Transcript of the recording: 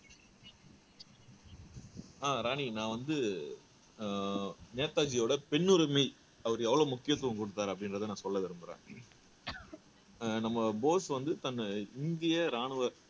அஹ் ராணி நான் வந்து அஹ் நேதாஜியோட பெண்ணுரிமை அவரு எவ்வளவு முக்கியத்துவம் குடுத்தாரு அப்படின்றதை நான் சொல்ல விரும்பறேன் அஹ் நம்ம போஸ் வந்து தன்னை இந்திய ராணுவ